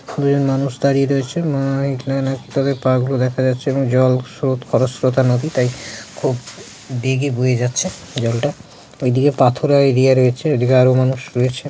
খুবই মানুষ দাঁড়িয়ে রয়েছে এক তাদের পা গুলো দেখা যাচ্ছেএবং জলস্রোত খরস্রোতা নদী তাই খুব বেগে বয়ে যাচ্ছে জলটা এইদিকে পাথর আর ওই দিকে রয়েছে ওই দিকে আরো মানুষ রয়েছে ।